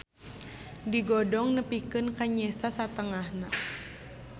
Digodong nepikeun ka nyesa satengahna.